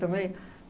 também.